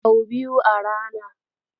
Sau biyu a rana.